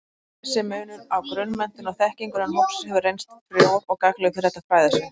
Þessi munur á grunnmenntun og-þekkingu innan hópsins hefur reynst frjór og gagnlegur fyrir þetta fræðasvið.